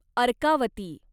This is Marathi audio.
अर्कावती